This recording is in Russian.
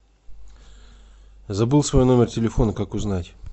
забыл свой номер телефона как узнать